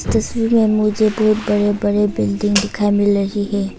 तस्वीर में मुझे बहुत बड़े बड़े बिल्डिंग दिखाई मिल रही है।